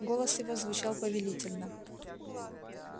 голос его звучал повелительно